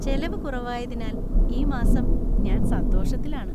ചെലവു കുറവായതിനാൽ ഈ മാസം ഞാൻ സന്തോഷത്തിലാണ് .